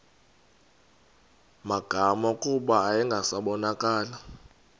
magama kuba yayingasabonakali